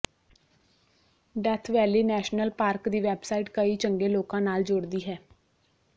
death valley national park ਦੀ website ਕਈ ਚੰਗੇ ਲੋਕਾਂ ਨਾਲ ਜੋੜਦੀ ਹੈ